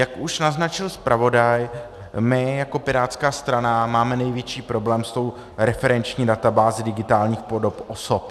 Jak už naznačil zpravodaj, my jako pirátská strana máme největší problém s tou referenční databází digitálních podob osob.